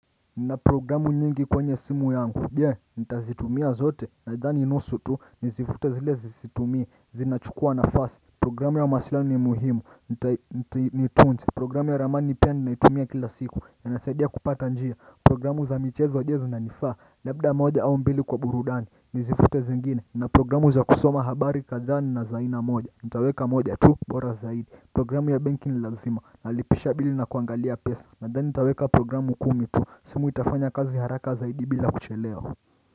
Ninaprogramu nyingi kwenye simu yangu jee nitazitumia zote nadhani nusu tu nizifute zile zisitumii zinachukua nafasi programu ya masila ni muhimu nitunti programu ya ramani pia ninaitumia kila siku yanasaidia kupata njia programu za michezo jezu na nifaa labda moja au mbili kwa burudani nizifute zingine na programu za kusoma habari kadhaa na za aina moja nitaweka moja tu bora zaidi programu ya banki ni lazima nalipisha bili na kuangalia pesa nathani nitaweka programu kumi tu, simu itafanya kazi haraka zaidi bila kuchelewa.